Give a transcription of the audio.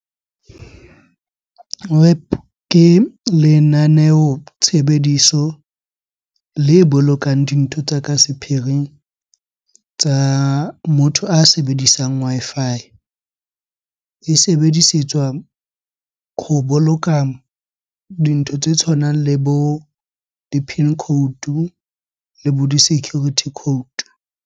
WEP ke lenaneo tshebediso le bolokang dintho tsa ka sephiring tsa motho a sebedisang Wi-Fi. E sebedisetswa ho boloka dintho tse tshwanang le bo di-PIN code le bo di-security code.